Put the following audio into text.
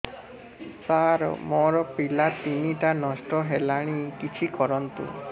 ସାର ମୋର ପିଲା ତିନିଟା ନଷ୍ଟ ହେଲାଣି କିଛି କରନ୍ତୁ